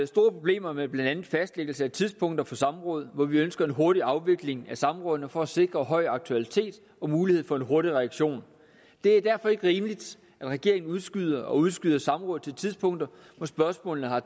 problemer med blandt andet fastlæggelse af tidspunkter for samråd hvor vi ønsker en hurtig afvikling af samrådene for at sikre høj aktualitet og mulighed for en hurtig reaktion det er derfor ikke rimeligt at regeringen udskyder og udskyder samråd til tidspunkter hvor spørgsmålene har